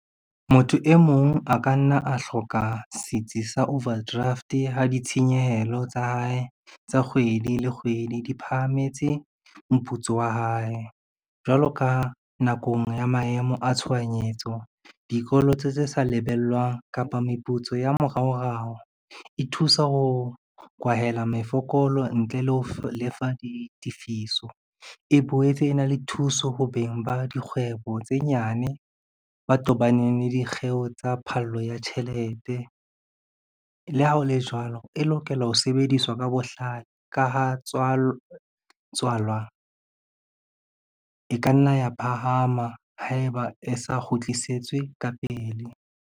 Motho e mong a ka nna a hloka setsi sa overdraft ha ditshenyehelo tsa hae tsa kgwedi le kgwedi, di phahametse moputso wa hae. Jwalo ka nakong ya maemo a tshohanyetso, dikoloto tse sa lebellwang kapa meputso ya moraorao, e thusa ho kwahela mefokolo ntle le ho lefa ditefiso. E boetse e na le thuso ho beng ba dikgwebo tse nyane ba tobaneng le dikgeo tsa phallo ya tjhelete. Le ha o le jwalo, e lokela ho sebediswa ka bohlale ka ha tswalwa e ka nna ya phahama haeba e sa kgutlisetswe ka pele.